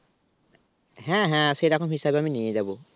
হ্যাঁ হ্যাঁ সেরকম হিসেবে আমি নিয়ে যাব